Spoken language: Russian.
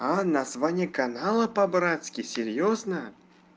а название канала по-братски серьёзно